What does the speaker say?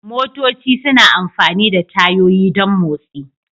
Motoci suna amfani da tayoyi don motsi.